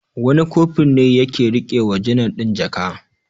Wani Kofur ne ya ke riƙe wa janar ɗin jaka.